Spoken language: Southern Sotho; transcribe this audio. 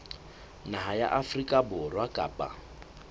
naha ya afrika borwa kapa